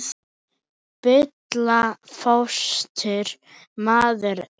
Bulla fótstór maður er.